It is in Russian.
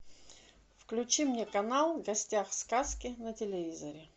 включи мне канал в гостях у сказки на телевизоре